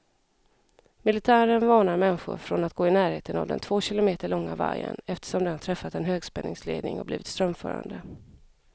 Militären varnar människor från att gå i närheten av den två kilometer långa vajern, eftersom den träffat en högspänningsledning och blivit strömförande.